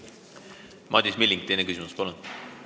Madis Milling, teine küsimus, palun!